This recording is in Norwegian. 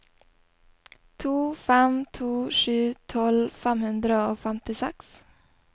to fem to sju tolv fem hundre og femtiseks